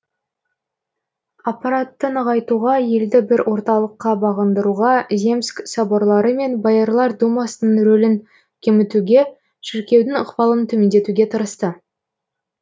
аппаратты нығайтуға елді бір орталыққа бағындыруға земск соборлары мен боярлар думасының ролін кемітуге шіркеудің ықпалын төмендетуге тырысты